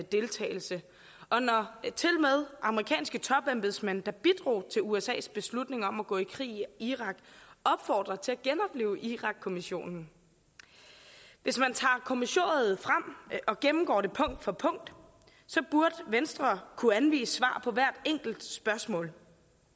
deltagelse og når tilmed amerikanske topembedsmænd der bidrog til usas beslutning om at gå i krig i irak opfordrer til at genoplive irakkommissionen hvis man tager kommissoriet frem og gennemgår det punkt for punkt burde venstre kunne anvise svar på hvert enkelt spørgsmål